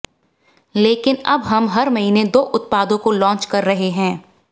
लेकिन अब हम हर महीने दो उत्पादों को लॉन्च कर रहे हैं